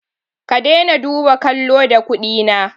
Ka dai na duba kallo da kuɗi na